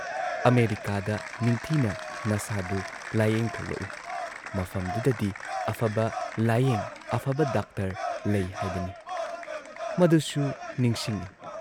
ꯑꯃꯦꯔꯤꯀꯥꯗ ꯅꯤꯡꯊꯤꯅ ꯅꯁꯥꯗꯨ ꯂꯥꯌꯦꯡꯊꯣꯛꯂꯛꯎ ꯃꯐꯝꯗꯨꯗꯗꯤ ꯑꯐꯕ ꯂꯥꯌꯦꯡ ꯑꯐꯕ ꯗꯥꯛꯇꯔ ꯂꯩ ꯍꯥꯏꯕꯅꯤ" ꯃꯗꯨꯁꯨ ꯅꯤꯡꯁꯤꯡꯏ ꯫